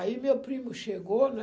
Aí, meu primo chegou, né?